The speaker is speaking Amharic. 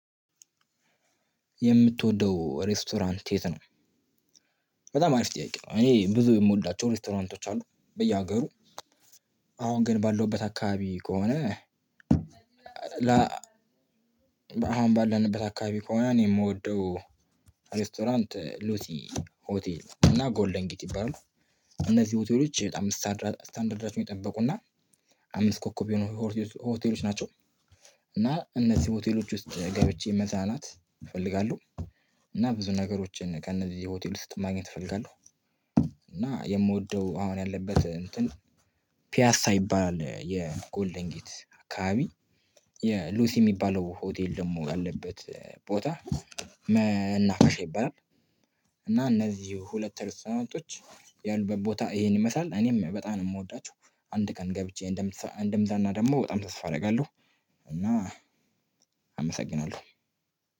የምትወደው ሬስቶራንት የት ነው? በጣም አሪፍ ጥያቄ ነው። እኔ ብዙ የምወዳቸው ሬስቶራንቶች አሉ በየሀገሩ አሁን ግን ባለውበት አካባቢ ከሆነ። አሁን ባለንበት አካባቢ ከሆነ እኔ የምወደው ሬስቶራንት ሉሲ ሆቴል እና ጎልደን ጌት ይባላሉ። እነዚህ ሆቴሎች በጣም ስታንዳርዳቸዉን የጠበቁና አምስት ኮከብ የሆኑ ሆቴሎች ናቸው። እና እነዚህ ሆቴሎች ውስጥ ገብቼ መዝናናት እፈልጋለሁ። እና ብዙ ነገሮችን ከእነዚህ ሆቴል ውስጥ ማግኘት እፈልጋለሁ። እና የምወደው አሁን ያለበት እንትን ፒያሳ ይባላል የጎልድንጌት አካባቢ የሉሲ የሚባለው ሆቴል ደግሞ ያለበት ቦታ መናፈሻ ይባላል። እና እነዚህ ሁለት ሬስቶራንቶች ያሉበት ቦታ ይሄን ይመስላል እኔም በጣም ነው የምወዳቸው። አንድ ቀን ገብቼ እንደምዝናና ደግሞ በጣም ተስፋ አደርጋለሁ። እና አመሰግናለሁ።